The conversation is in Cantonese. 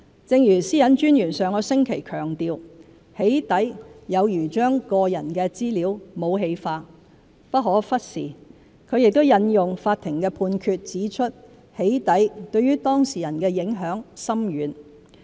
正如私隱專員上星期強調，"起底"有如將個人資料武器化，不可忽視，她亦引用法庭判決指出"起底"對當事人的影響深遠。